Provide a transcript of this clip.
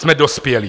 Jsme dospělí.